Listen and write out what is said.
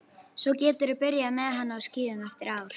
Svo geturðu byrjað með hann á skíðum eftir ár.